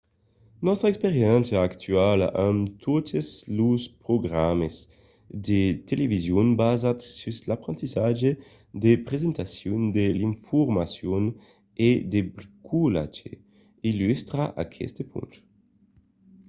nòstra experiéncia actuala amb totes los programas de television basats sus l'aprendissatge de presentacion de l'informacion e de bricolatge illustra aqueste ponch